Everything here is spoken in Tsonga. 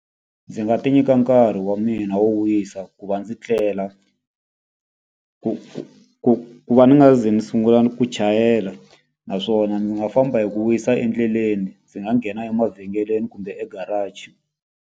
Ndzi nga ti nyika nkarhi wa mina wo wisa ku va ndzi tlela, ku ku ku va ni nga ze ndzi sungula ni ku chayela. Naswona ndzi nga famba hi ku wisa endleleni, ndzi nga nghena emavhengeleni kumbe e-garage.